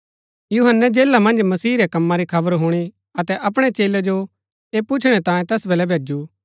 यूहन्‍नै जेला मन्ज मसीह रै कम्मा री खबर हुणी अतै अपणै चेलै जो ऐह पुछणै तांयें तैस बलै भैजु